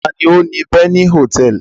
Ta ni ó ni Beni Hòtẹ́ẹ́lì?